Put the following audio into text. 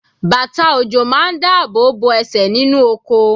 Bàtà ọ̀jọ̀ máa dá ààbò bo ẹsẹ̀ nínú oko